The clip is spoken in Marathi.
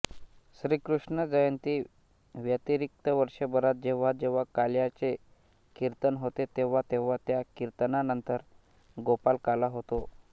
श्रीकृष्णजयंती व्यतिरिक्त वर्षभरात जेव्हाजेव्हा काल्याचे कीर्तन होते तेव्हा तेव्हा त्या कीर्तनानंतर गोपालकाला होतो